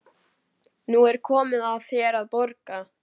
Nú er komið að þér að borga.